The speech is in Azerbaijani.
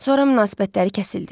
Sonra münasibətləri kəsildi.